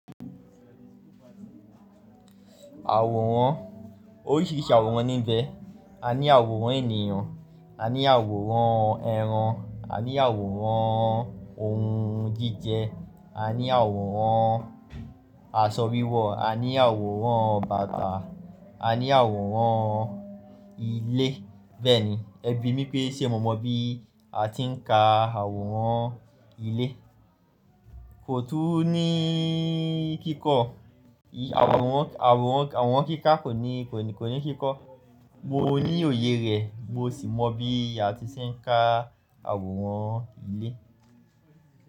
Àwòrán oríṣìíríṣìí àwòrán níbẹ̀. A ní àwòrán ènìyàn, a ní àwòrán ẹran, a ní àwòrán ohun jíjẹ, a ní àwòrán aṣọ wíwọ̀, a ní àwòrán bàtà, a ní àwòrán ilé. Bẹ́ẹ̀ni, ẹbí mí pé ṣe mo mọ bí a ti ń ka àwòrán ilé. Kò tún ní kíkọ́, àwòrán, àwòrán, àwòrán kíkà kò ní, kò ní kíkọ́. Mo ní òye rẹ̀, mo sì mọ bí a ti ṣe ń ka àwòrán ilé.